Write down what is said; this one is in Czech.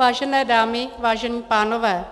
Vážené dámy, vážení pánové,